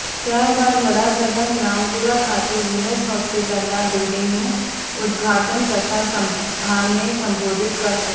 ત્યાર બાદ વડાપ્રધાન રામપુરા ખાતે વિનસ હોસ્પીટલના બિલ્ડીંગનું ઉદધાટન તથા સભાને સંબોધિત કરશે